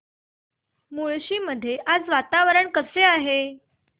मुळशी मध्ये आज वातावरण कसे आहे